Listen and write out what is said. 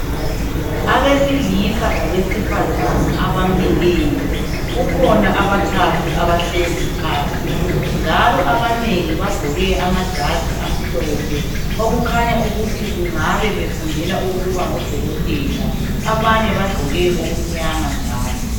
Abesilisa labesifazana abamileyo kukhona abathathu abahlezi phansi njalo abanengi bagqoke amajazi amhlophe okukhanya ukuthi ukungabe befundela ukuba ngodokotela abanye bagqoke okumnyama njalo.